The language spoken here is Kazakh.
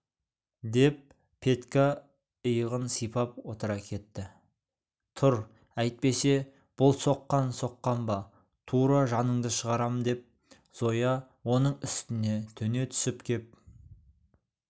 деп петька иығын сипап отыра кетті тұр әйтпесе бұл соққан соққан ба тура жаныңды шығарам деп зоя оның үстіне төне түсіп кеп